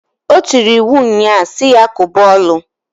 O tiri iwu nnyaa si ya koba ọlụǃ